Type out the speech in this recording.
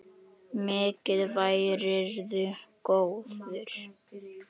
Mikið værirðu góður.